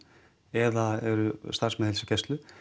eða er starfsfólk heilsugæslu